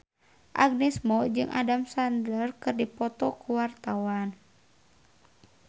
Agnes Mo jeung Adam Sandler keur dipoto ku wartawan